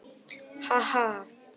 Ha- ha.